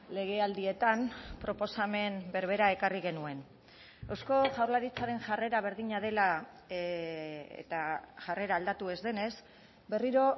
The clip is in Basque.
legealdietan proposamen berbera ekarri genuen eusko jaurlaritzaren jarrera berdina dela eta jarrera aldatu ez denez berriro